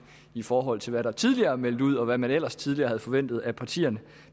i forhold til hvad der tidligere meldt ud og hvad man ellers tidligere havde forventet af partierne